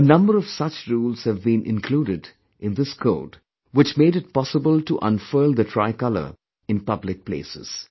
A number of such rules have been included in this code which made it possible to unfurl the tricolor in public places